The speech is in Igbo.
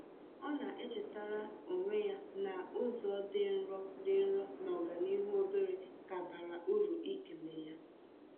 Ọ na-echetaara onwe ya n’ụzọ dị nro dị nro na ọganihu obere ka bara uru ịkele ya.